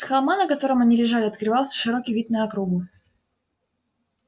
с холма на котором они лежали открывался широкий вид на округу